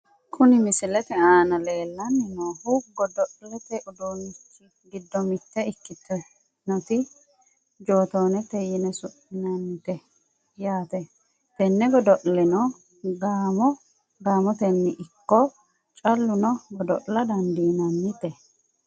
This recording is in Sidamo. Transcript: Kuni misilete aana leellanni noohu godo'lete uduunnichi giddo mitte ikkitinoti jootoonete yine su'minanite yaate, tenne godo'leno gaamo gaamotenni ikko callu no godo'la dandiinannite.